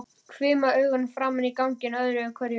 Hvimaði augunum fram á ganginn öðru hverju.